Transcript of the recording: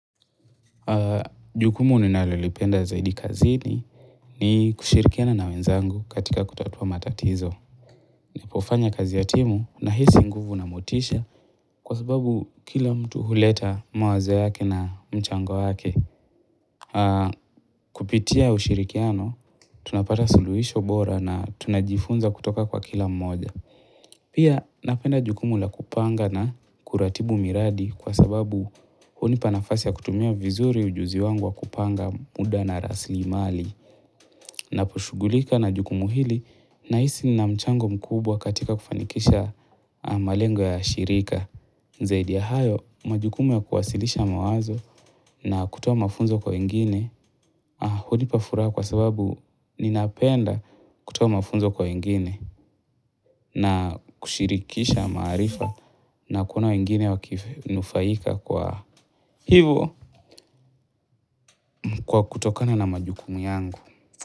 Jukumu ni nalolipenda zaidi kazini ni kushirikiana na wenzangu katika kutatua matatizo. Napofanya kazi ya timu na hisi nguvu na motisha kwa sababu kila mtu huleta mawazo yake na mchango yake. Kupitia ushirikiano tunapata suluhisho bora na tunajifunza kutoka kwa kila mmoja. Pia napenda jukumu la kupanga na kuratibu miradi kwa sababu hunipanafasi ya kutumia vizuri ujuzi wangu wa kupanga muda na rasilimali na poshughulika na jukumu hili na hisi ninamchango mkubwa katika kufanikisha malengo ya shirika. Zaidi ya hayo, majukumu ya kuwasilisha mawazo na kutoa mafunzo kwa wengine hudipa furaha kwa sababu ninapenda kutoa mafunzo kwa wengine na kushirikisha maarifa na kuona wengine wakinufaika kwa hivo kwa kutokana na majukumu yangu.